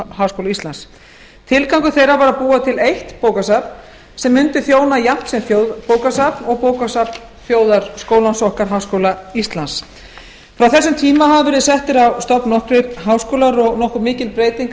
háskóla íslands tilgangur þeirra var að búa til eitt bókasafn sem mundi þjóna jafnt sem þjóðbókasafn og bókasafn þjóðarskólans okkar háskóla íslands frá þessum tíma hafa verið settir á stofn nokkrir háskólar og